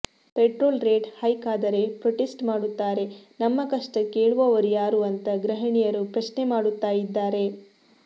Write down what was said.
petrol rate hike ಆದರೆ protest ಮಾಡುತ್ತಾರೆ ನಮ್ಮ ಕಷ್ಟ ಕೇಳುವವರು ಯಾರು ಅಂತ ಗೃಹಿಣಿಯರು ಪ್ರಶ್ನೆ ಮಾಡುತ್ತಾ ಇದ್ದಾರೆ